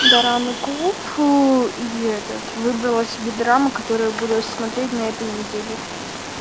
драмы клуб и этот выбрала себе драмы которые буду смотреть на этой неделе